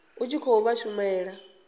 u tshi khou vha shumela